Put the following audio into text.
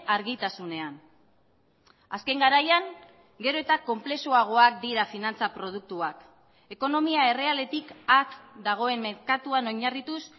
argitasunean azken garaian gero eta konplexuagoak dira finantza produktuak ekonomia errealetik at dagoen merkatuan oinarrituz